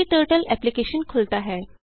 क्टर्टल application खुलता है